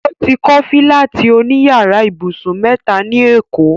O ti kọ́ fílátì òní yàrá ibùsùn mẹ́ta ní èkó